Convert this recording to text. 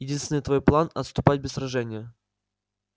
единственный твой план отступать без сражения